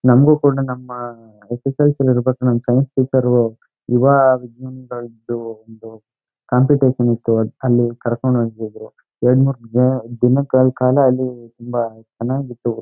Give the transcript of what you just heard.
ನಮಗೂ ಕೂಡ ನಮ್ಮ ಯಸ್ ಯಸ್ ಎಲ್ ಸಿ ಇರ್ಬೇಕಾದ್ರೆ ನಮ್ಮ ಸೈನ್ಸ್ ಟೀಚರ್ ಒಂದು ಕಾಂಪಿಟಿಷನ್ ಇತ್ತು. ಅಲಿ ಕರ್ಕಂಡ್ ಹೋಯ್ತಾ ಇದ್ರೂ ಎರಡು ಮೂರೂ ತುಂಬಾ ಚನ್ನಾಗಿತ್ತು.